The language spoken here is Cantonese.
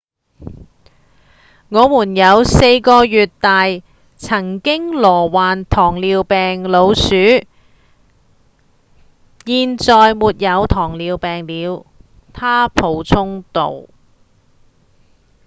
「我們有4個月大曾經罹患糖尿病老鼠現在沒有糖尿病了」他補充道